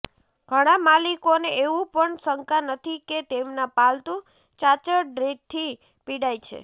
ઘણા માલિકોને એવું પણ શંકા નથી કે તેમના પાલતુ ચાંચડથી પીડાય છે